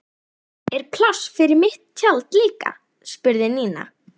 Er pláss fyrir mitt tjald líka? spurði Nína.